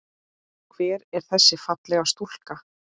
Hver er þessi fallega stúlka?